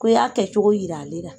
Ko i y'a kɛcogo yira ale la.